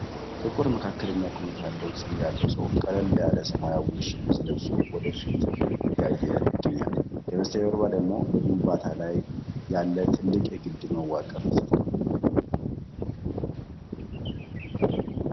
ጥቁር መካከለኛ ቁመት ያለው ፂም ያለው ሰው ቀለል ያለ ሰማያዊ ሸሚዝ ለብሶ ወደ ፊት እያየ ይገኛል። ከበስተጀርባው ደግሞ በግንባታ ላይ ያለ ትልቅ የግድብ መዋቅር ተሰርቷል።